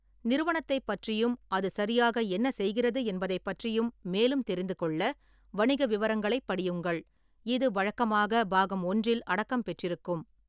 நிறுவனத்தைப் பற்றியும் அது சரியாக என்ன செய்கிறது என்பதைப் பற்றியும் மேலும் தெரிந்துகொள்ள, வணிக விவரங்களைப் படியுங்கள், இது வழக்கமாக பாகம் ஒன்றில் அடக்கம் பெற்றிருக்கும்.